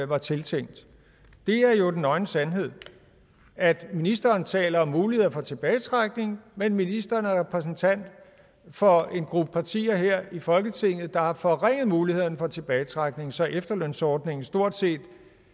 var tiltænkt det er jo den nøgne sandhed altså at ministeren taler om muligheder for tilbagetrækning men at ministeren er repræsentant for en gruppe partier her i folketinget der har forringet mulighederne for tilbagetrækning så efterlønsordningen stort set i